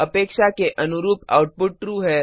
अपेक्षा के अनुरूप आउटपुट ट्रू है